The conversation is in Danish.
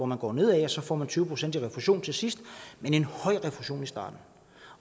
man går ned ad og får tyve procent i refusion til sidst men en høj refusion i starten